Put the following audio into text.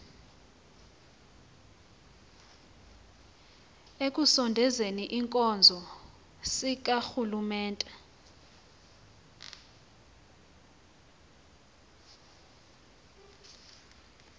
ekusondezeni iinkonzo zikarhulumente